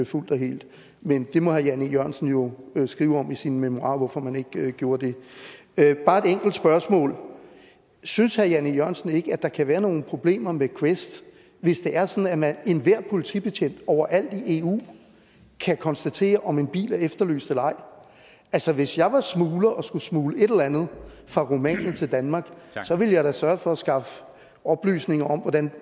fuldt og helt men det må herre jan e jørgensen jo skrive om i sine memoirer altså hvorfor man ikke gjorde det bare et enkelt spørgsmål synes herre jan e jørgensen ikke at der kan være nogle problemer med quest hvis det er sådan at enhver politibetjent overalt i eu kan konstatere om en bil er efterlyst eller ej altså hvis jeg var smugler og skulle smugle et eller andet fra rumænien til danmark ville jeg da sørge for at skaffe oplysninger om